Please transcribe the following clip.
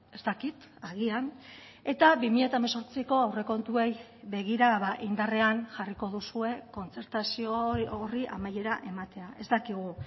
ez dakit agian eta bi mila hemezortziko aurrekontuei begira indarrean jarriko duzue kontzertazio horri amaiera ematea ez dakigu